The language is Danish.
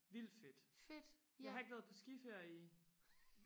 vildt fedt jeg har ikke været på skiferie i